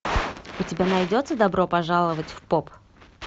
у тебя найдется добро пожаловать в поп